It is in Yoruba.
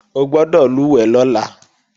O gbọ́dọ̀ lùwẹ̀ lọ́la!